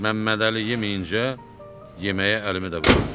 Məmmədəli yeməyincə, yeməyə əlimi də vurmurdum.